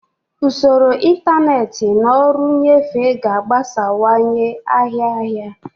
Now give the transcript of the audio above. Usoro ntanetị na ọrụ nnyefe ga-agbasawanye ahịa ahịa.